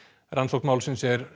rannsókn málsins er